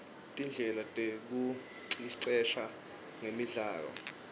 tindlela tekuicecesha ngemidlalo